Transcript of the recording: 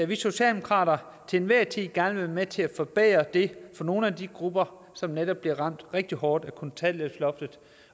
vi socialdemokrater til enhver tid gerne vil være med til at forbedre det for nogle af de grupper som netop bliver ramt rigtig hårdt af kontanthjælpsloftet